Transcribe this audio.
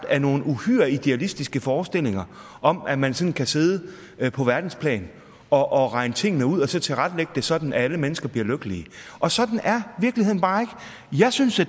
af nogle uhyre idealistiske forestillinger om at man sådan kan sidde på verdensplan og og regne tingene ud og så tilrettelægge det sådan at alle mennesker bliver lykkelige og sådan er virkeligheden bare ikke jeg synes